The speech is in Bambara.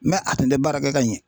Mɛ a tun tɛ baara kɛ ka ɲɛ .